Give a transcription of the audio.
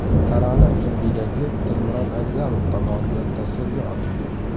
Tarona uchun videoklip Dilmurod Agzamov tomonidan tasvirga olindi.